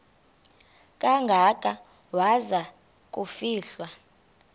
kangaka waza kufihlwa